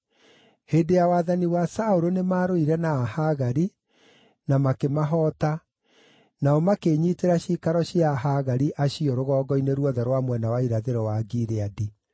Hĩndĩ ya wathani wa Saũlũ nĩmarũire na Ahagari, na makĩmahoota; nao makĩĩnyiitĩra ciikaro cia Ahagari acio rũgongo-inĩ ruothe rwa mwena wa irathĩro wa Gileadi.